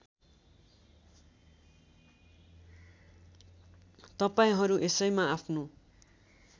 तपाईँहरू यसैमा आफ्नो